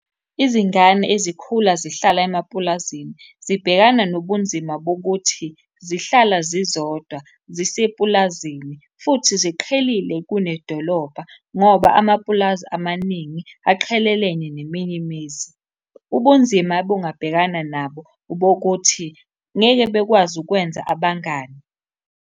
Izingane ezikhula zihlala emapulazini zibhekana nobunzima bokuthi zihlala zizodwa ziseplazini, futhi ziqhelile kunedolobha, ngoba amapulazi amaningi aqhelelene neminye imizi. Ubunzima obungabhekana nabo obokuthi ngeke bekwazi ukwenza abangani.